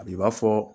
A b'i b'a fɔ